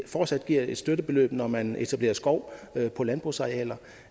fortsat giver et støttebeløb når man etablerer skov på landbrugsarealer